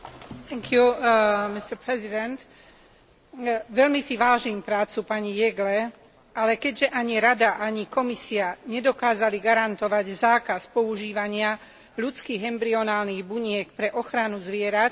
Veľmi si vážim prácu pani Jeggle, ale keďže ani Rada, ani Komisia nedokázali garantovať zákaz používania ľudských embryonálnych buniek pre ochranu zvierat, nemôžem podporiť text predloženej smernice.